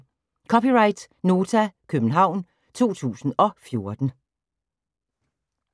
(c) Nota, København 2014